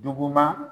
Duguma